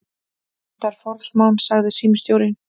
Þetta er forsmán, sagði símstjórinn.